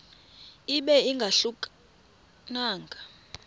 ibe ingahluka nanga